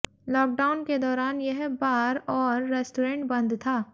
lockdown के दौरान यह बार और रेस्टॉरेंट बंद था